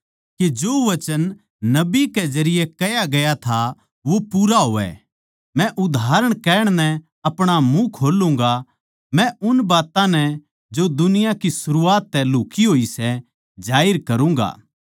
के जो वचन नबी कै जरिये कह्या गया था वो पूरा होवै मै उदाहरण कहण नै अपणा मुँह खोल्लुँगा मै उन बात्तां नै जो दुनिया की सरूआत तै लुक्ही होई सै जाहिर करूँगा